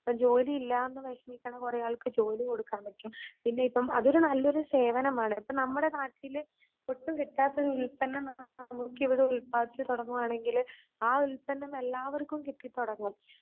ഇപ്പ ജോലിയില്ലാന്ന് വിഷമിക്കണ കുറേആൾക്ക് ജോലി കൊടുക്കാൻ പറ്റും പിന്നെ ഇപ്പം അതൊരു സേവനമാണ്. ഇപ്പ നമ്മടെ നാട്ടില് ഒട്ടും കിട്ടാത്തൊരുൽപന്നം ഉൽപാദിച്ച് തുടങ്ങുവാനെങ്കില് ആ ഉൽപ്പന്നം എല്ലാവർക്കും കിട്ടി തുടങ്ങും.